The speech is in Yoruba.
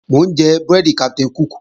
Mò ń jẹ búrẹ́dì Captain Cook